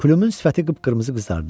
Plümün sifəti qıpqırmızı qızardı.